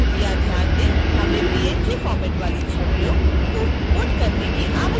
कृपया ध्यान दें : हमें png फ़ॉर्मैट वाली छवियों को इम्पोर्ट करने की आवश्यकता होती है